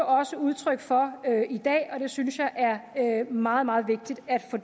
også udtryk for i dag og det synes jeg er meget meget vigtigt at få